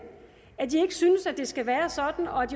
at de ikke synes at det skal være sådan og at